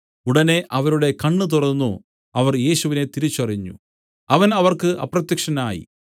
ഉടനെ അവരുടെ കണ്ണ് തുറന്നു അവർ യേശുവിനെ തിരിച്ചറിഞ്ഞു അവൻ അവർക്ക് അപ്രത്യക്ഷനായി